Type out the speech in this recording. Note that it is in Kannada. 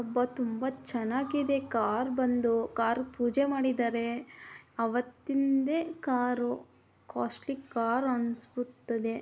ಅಬ್ಬಾ ತುಂಬಾ ಚನಾಗ್ ಇದೆ ಕಾರ್ ಬಂದು ಕಾರ್ ಗೆ ಪೂಜೆ ಮಾಡಿದರೆ ಅವತ್ತಿನ್ದೆ ಕಾರು ಕಾಸ್ಟ್ಲಿ ಕಾರು ಅನಿಸುತ್ತೆದೇ.